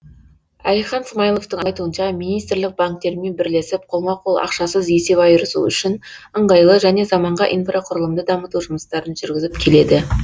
әлихан смайыловтың айтуынша министрлік банктермен бірлесіп қолма қол ақшасыз есеп айырысу үшін ыңғайлы және заманға инфрақұрылымды дамыту жұмыстарын жүргізіп келеді